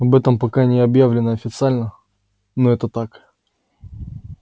об этом пока не объявлено официально но это так